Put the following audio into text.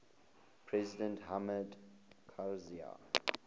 president hamid karzai